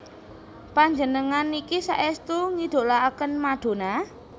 Panjenengan niki saestu ngidolaaken Madonna?